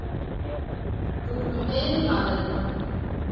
Þú ert nú meiri maðurinn!